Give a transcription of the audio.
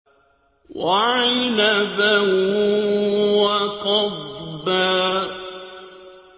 وَعِنَبًا وَقَضْبًا